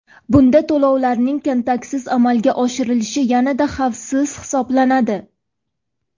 Bunda to‘lovlarning kontaktsiz amalga oshirilishi yanada xavfsiz hisoblanadi.